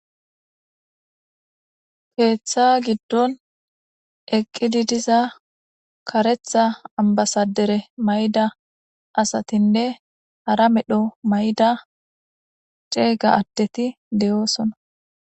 Kethta giddon eqide de'za kareththa ambasader mayida asatenne hara medho mayida c'ega addet de'osona.